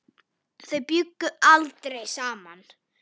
Þau bjuggu aldrei saman.